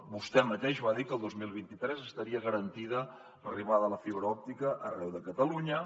vostè mateix va dir que el dos mil vint tres estaria garantida l’arribada de la fibra òptica arreu de catalunya